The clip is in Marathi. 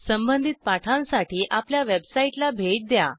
संबधित पाठांसाठी आपल्या वेबसाईटला भेट द्या